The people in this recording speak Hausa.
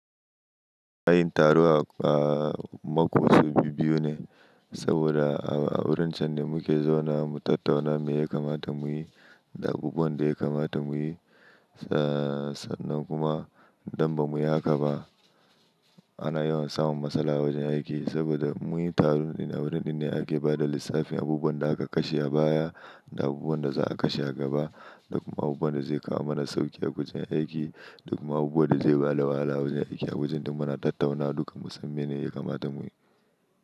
Yin taro a mako wasu biyu-biyu ne, saboda a wurin ce ne muke zauna mu tattauna me ya kamata mu yi, da abubuwan da ya kamata mu yi, sannan kuma don ba mu yi haka ba. Ana yawan samun matsala a wajen aiki saboda muyi taron a wurin da ake ba da lissafin abubuwan da aka kashe a baya, da abubuwan da za a kashe a gaba, da kuma abubuwan da zai kawo mana sauƙi a wajen aiki, da kuma abubuwan da zai ba da wahala a wajen aiki. A wajen duk muna tattauna duka, musamman me ne ya kamata mu yi.